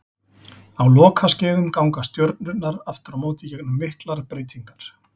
Á lokaskeiðum ganga stjörnurnar aftur á móti gegnum miklar breytingar.